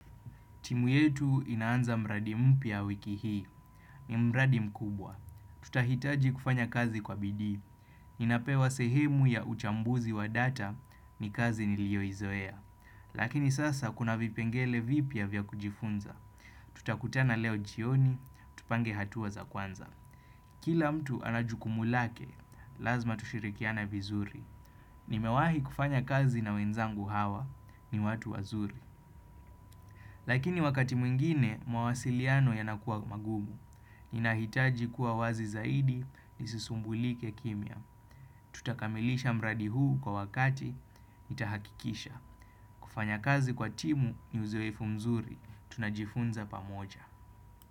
Timu yetu inaanza mradi mpya wiki hii. Ni mradi mkubwa. Tutahitaji kufanya kazi kwa bidii. Ninapewa sehemu ya uchambuzi wa data ni kazi niliyoizoea. Lakini sasa kuna vipengele vipya vya kujifunza. Tutakutana leo jioni, tupange hatua za kwanza. Kila mtu ana jukumu lake, lazima tushirikiane vizuri. Nimewahi kufanya kazi na wenzangu hawa ni watu wazuri. Lakini wakati mwingine, mawasiliano yanakuwa magumu. Ninahitaji kuwa wazi zaidi nisisumbulike kimya. Tutakamilisha mradi huu kwa wakati nitahakikisha. Kufanya kazi kwa timu ni uzoefu mzuri. Tunajifunza pamoja.